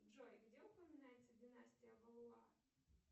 джой где упоминается династия валуа